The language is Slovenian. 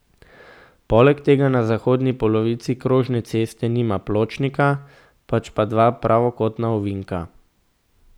Poleg tega na zahodni polovici krožne ceste nima pločnika, pač pa dva pravokotna ovinka.